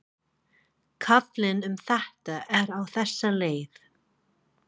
Kaflinn um þetta er á þessa leið: